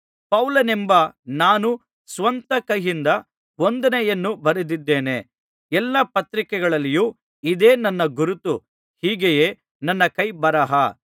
ಪೌಲನೆಂಬ ನಾನು ಸ್ವಂತ ಕೈಯಿಂದ ವಂದನೆಯನ್ನು ಬರೆದಿದ್ದೇನೆ ಎಲ್ಲಾ ಪತ್ರಿಕೆಗಳಲ್ಲಿಯೂ ಇದೇ ನನ್ನ ಗುರುತು ಹೀಗೆಯೇ ನನ್ನ ಕೈ ಬರಹ